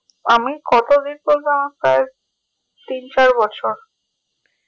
আমি কতদিন তিন চার বছর